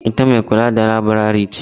Ita mai kula da laburare ce?